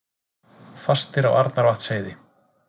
Fastir á Arnarvatnsheiði